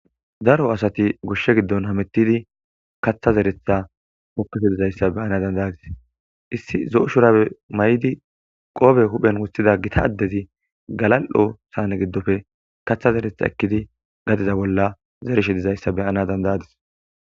daro asati gushshe giddon hamettidi katha zeretha poppefe dizayssa beana dandayadis issi zo7o shurabe may7di qoobe huphen wusthida gita addezi galal7o saane giddofe katha zeretha ekkidi gadiza bolla zereshe dizayssa beyana dandayadis